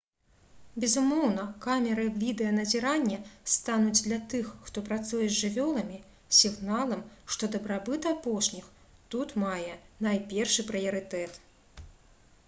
«безумоўна камеры відэаназірання стануць для тых хто працуе з жывёламі сігналам што дабрабыт апошніх тут мае найпершы прыярытэт»